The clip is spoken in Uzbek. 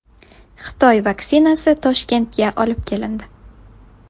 Xitoy vaksinasi Toshkentga olib kelindi.